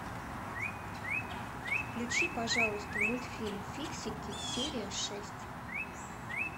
включи пожалуйста мультфильм фиксики серия шесть